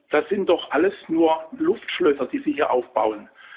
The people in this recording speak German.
Das sind doch alles nur Luftschlösser, die Sie hier aufbauen.